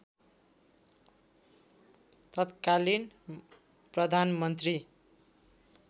तत्कालीन प्रधानमन्त्री